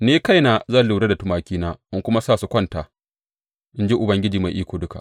Ni kaina zan lura da tumakina in kuma sa su kwanta, in ji Ubangiji Mai Iko Duka.